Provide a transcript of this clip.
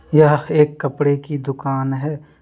यह एक कपड़े की दुकान है।